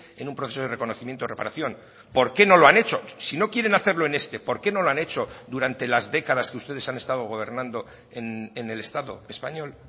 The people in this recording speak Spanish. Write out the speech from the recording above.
en un proceso de reconocimiento o reparación por qué no lo han hecho si no quieren hacerlo en este por qué no lo han hecho durante las décadas que ustedes han estado gobernando en el estado español